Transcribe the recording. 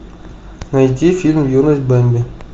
найти фильм юность бемби